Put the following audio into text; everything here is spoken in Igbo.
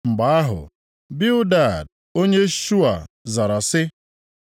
Mgbe ahụ, Bildad onye Shua zara sị: